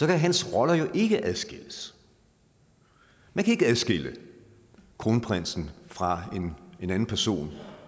kan hans roller jo ikke adskilles man kan ikke adskille kronprinsen fra en anden person